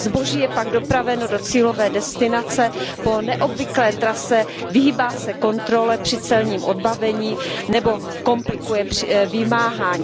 Zboží je pak dopraveno do cílové destinace po neobvyklé trase, vyhýbá se kontrole při celním odbavení nebo komplikuje vymáhání.